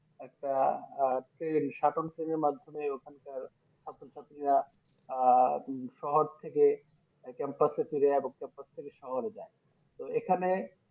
একটা আহ সাটোন সেনের মাধ্যমে ওখান কার ছাত্র ছাত্রীরা আহ শহর থেকে একটা ফেরে একটা থেকে শহরে যাই তো এখানে